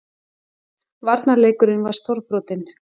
Varnarleikurinn var stórbrotinn